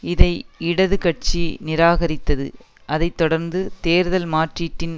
இதை இடது கட்சி நிராகரித்தது அதை தொடர்ந்து தேர்தல் மாற்றீட்டின்